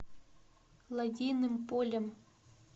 лодейным полем